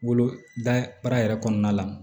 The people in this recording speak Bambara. Woloda baara yɛrɛ kɔnɔna la